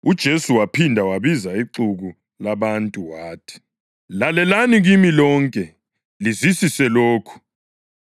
UJesu waphinda wabiza ixuku labantu wathi, “Lalelani kimi lonke, lizwisise lokhu.